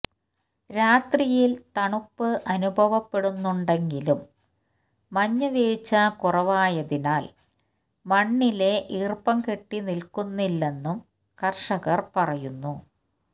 രാത്രിയില് തണുപ്പ് അനുഭവപ്പെടുന്നുണ്ടെങ്കിലും മഞ്ഞ് വീഴ്ച്ച കുറവായതിനാല് മണ്ണില് ഈര്പ്പം കെട്ടി നില്ക്കുന്നില്ലെന്നും കര്ഷകര് പറയുന്നു